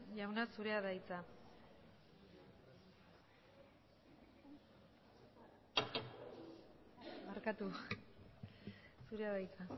jauna zurea da hitza barkatu zurea da hitza